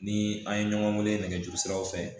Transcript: Ni an ye ɲɔgɔn wele nɛgɛjuru siraw fɛ